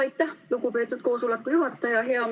Aitäh, lugupeetud koosoleku juhataja!